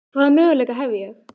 Hvaða möguleika hef ég?